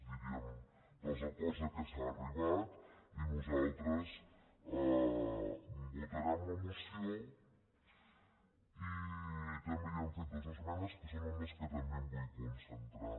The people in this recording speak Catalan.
diríem dels acords a què s’ha arribat i nosaltres votarem la moció i també hi hem fet dues esmenes que són en les que també em vull concentrar